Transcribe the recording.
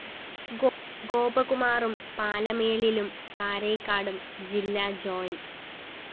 ഗോപകുമാറും പാലമേലിലും കാരയ്ക്കാടും ജില്ലാ ജോ